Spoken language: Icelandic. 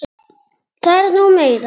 Það er nú meira.